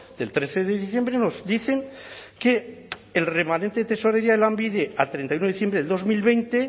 del trece de diciembre nos dicen que el remanente de tesorería de lanbide a treinta y uno diciembre del dos mil veinte